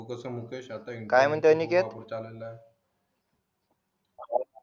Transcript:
काय म्हणतो अनिकेत